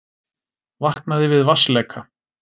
Vaknaði við vatnsleka